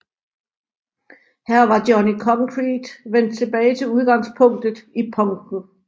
Her var Johnny Concrete vendt tilbage til udgangspunktet i punken